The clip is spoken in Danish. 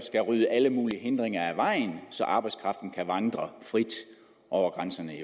rydde alle mulige hindringer af vejen så arbejdskraften kan vandre frit over grænserne